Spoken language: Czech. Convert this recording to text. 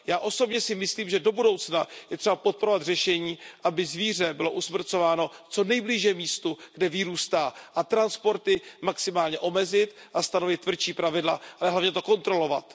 Já osobně si myslím, že do budoucna je třeba podporovat řešení, aby zvíře bylo usmrcováno co nejblíže místu, kde vyrůstá, a transporty maximálně omezit, stanovit tvrdší pravidla, ale hlavně to kontrolovat.